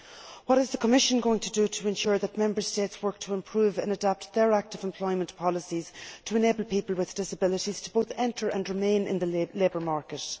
What is the Commission going to do to ensure that Member States work to improve and adapt their active employment policies to enable people with disabilities to both enter and remain in the labour market?